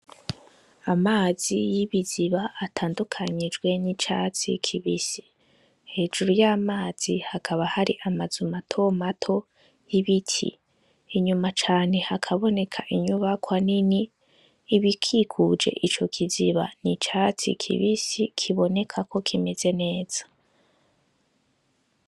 Amazi y'ibiziba atandukanijwe n'icatsi kibisi, hejuru ya mazi hakaba hari amazu mato mato y'ibiti, inyuma cane hakaboneka inyubakwa nini, ibikikuje ico kiziba n'icatsi kibisi kiboneka ko kimeze neza.